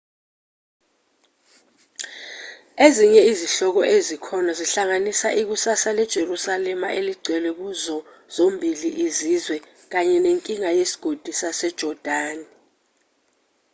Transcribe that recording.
ezinye izihloko ezikhona zihlanganisa ikusasa lejerusalema eligcwele kuzo zombili izizwe kanye nenkinga yesigodi sasejordani